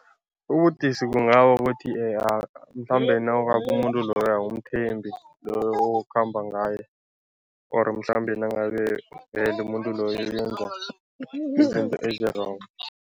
Ubudisi bungaba ukuthi mhlambe umuntu loyo awumthembi, loyo okhamba ngaye or mhlambe nangabe vele umuntu loyo uyenza izinto ezi-wrong.